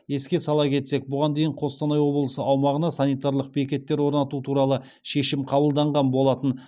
еске сала кетсек бұған дейн қостанай облысы аумағына санитарлық бекеттер орнату туралы шешім қабылданған болатын